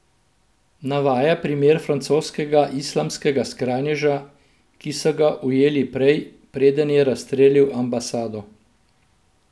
Navaja primer francoskega islamskega skrajneža, ki so ga ujeli prej, preden je razstrelil ambasado.